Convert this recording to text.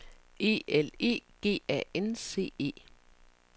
E L E G A N C E